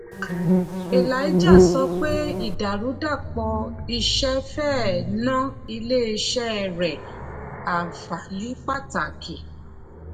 elijah sọ pé ìdàrúdàpọ̀ iṣẹ́ fẹ́ẹ̀ ná ilé-iṣẹ́ rẹ̀ àfààní pàtàkì.